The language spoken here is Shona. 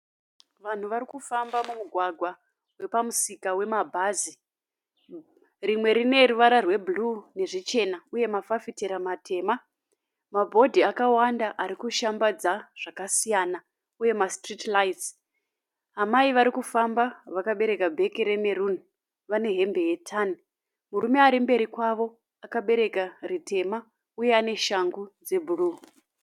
Vanhu varikufamba mumugwagwa wepamusika wemabhazi. Rimwe rine ruvara rwebhuruu nezvichena uye mafafitera matema. Mabhodhi akawanda arikushambadza zvakasiyana uye masiriti raitsi. Amai varikufamba vakabereka bheke remeruni vane hembe yetani. Murume arimberi kwavo akabereka ritema uye ane shangu dzebhuruu.